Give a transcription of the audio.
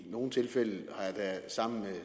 i nogle tilfælde sammen med